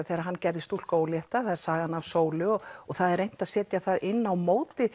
þegar hann gerði stúlku ólétta það er sagan af sólu og það er reynt að setja það inn á móti